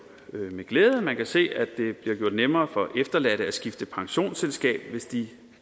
med glæde at man kan se at det bliver gjort nemmere for efterladte at skifte pensionsselskab hvis de